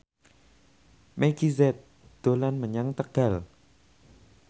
Meggie Z dolan menyang Tegal